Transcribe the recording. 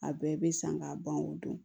A bɛɛ bɛ san ka ban o don